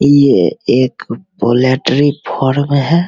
ये एक poultry farm है।